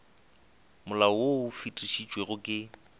molao wo o fetišitšwego ke